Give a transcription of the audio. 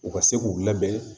U ka se k'u labɛn